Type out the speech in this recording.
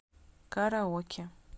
караоке